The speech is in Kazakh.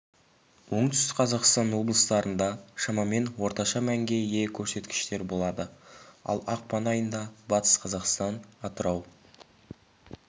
оңтүстік қазақстан облыстарында шамамен орташа мәнге ие көрсеткіштер болады ал ақпан айында батыс қазақстан атырау